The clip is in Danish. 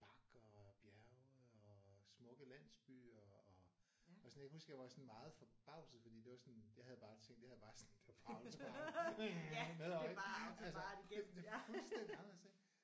Bakker og bjerge og smukke landsbyer og jeg var sådan jeg huske jeg var sådan meget forbavset fordi det var sådan jeg havde bare tænkt jeg havde bare sådan det er bare autobahn nedover ik altså det er fuldstændig anderldes ik